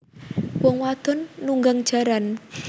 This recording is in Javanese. Wong wadon nunggang jaran